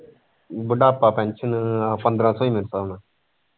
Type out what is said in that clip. ਬੁਢਾਪਾ pension ਪੰਦਰਾਹ ਸ਼ੋ ਹੀ ਮਿਲਦਾ ਹੋਣਾ